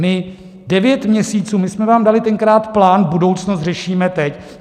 My devět měsíců... my jsme vám dali tenkrát plán, budoucnost řešíme teď.